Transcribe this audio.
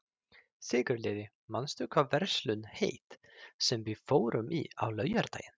Sigurliði, manstu hvað verslunin hét sem við fórum í á laugardaginn?